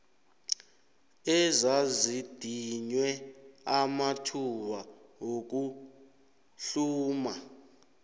ezazidinywe amathuba wokuhluma